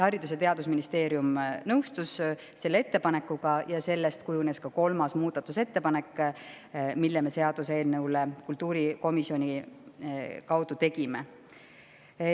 Haridus- ja Teadusministeerium nõustus selle ettepanekuga ja sellest kujunes kolmas muudatusettepanek, mille me seaduseelnõule kultuurikomisjoni kaudu tegime.